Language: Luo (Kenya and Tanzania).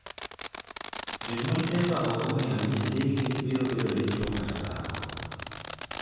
Jonyuol Eva ok ong'eyo ni nyathigi biro bedo dichwo kata dhako.